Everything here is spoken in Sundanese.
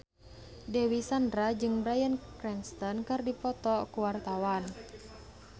Dewi Sandra jeung Bryan Cranston keur dipoto ku wartawan